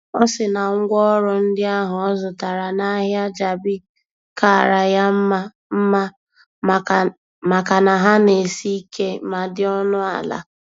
Ọ sị na ngwaọrụ ndị ahụ ọ zụtara n'ahịa Jabi kaara ya mma mma makana ha na-esi ike ma dị ọnụ ala.